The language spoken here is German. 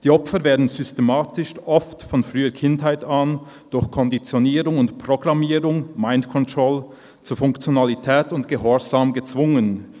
Die Opfer werden systematisch, oft von früher Kindheit an, durch Konditionierung und Programmierung (‹Mind Control›) zu Funktionalität und Gehorsam gezwungen.